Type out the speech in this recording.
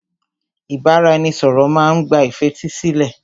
Ìbáraẹnisọ̀rọ̀ má n gba ìfetísílẹ̀.